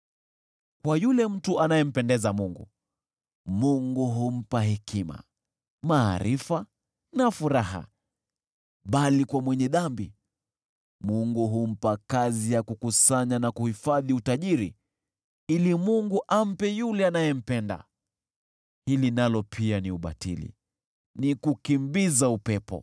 Kwa yule mtu anayempendeza Mungu, Mungu humpa hekima, maarifa na furaha, bali kwa mwenye dhambi Mungu humpa kazi ya kukusanya na kuhifadhi utajiri ili Mungu ampe yule anayempenda. Hili nalo pia ni ubatili, ni kukimbiza upepo.